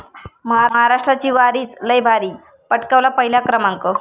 महाराष्ट्राची वारीच 'लय भारी', पटकावला पहिला क्रमांक